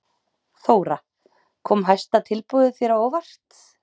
Þóra: Kom hæsta tilboðið þér á óvart?